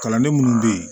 Kalanden minnu bɛ yen